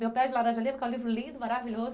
Meu Pé de Laranja Lima, que é um livro lindo, maravilhoso.